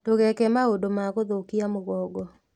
Ndũgeeke maũndũ ma gũthũkia mũgongo